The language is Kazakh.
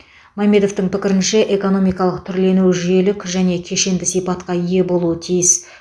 мамедовтың пікірінше экономикалық түрлену жүйелік және кешенді сипатқа ие болуы тиіс